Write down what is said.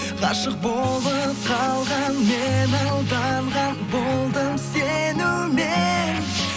ғашық болып қалған мен алданған болдым сенумен